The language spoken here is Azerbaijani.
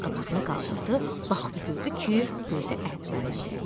Göz qapağını qaldırdı, baxdı gördü ki, gözü ətdəndir.